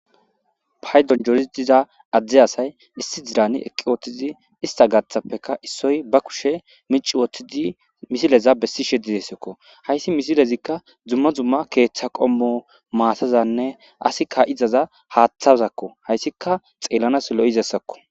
Pay donjorii diza adde asay issi dirani eqqi wooththizi ista gathappeka issoy ba kushe mici wooththidi misileza bessi sheddidessekko hayssi misilezikka dzumma zumma keeththa qommo maasazanne asikka izaza haaththazakko hayssika xeellanaslo'izessakko.